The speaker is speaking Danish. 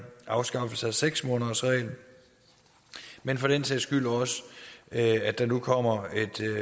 afskaffelse af seks månedersreglen men for den sags skyld også at at der nu kommer